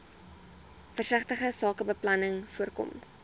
versigtige sakebeplanning voorkom